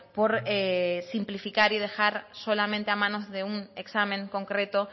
por simplificar y dejar solamente a manos de un examen concreto